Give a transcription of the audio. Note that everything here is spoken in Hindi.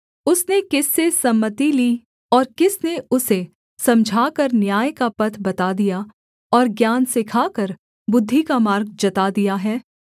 उसने किस से सम्मति ली और किसने उसे समझाकर न्याय का पथ बता दिया और ज्ञान सिखाकर बुद्धि का मार्ग जता दिया है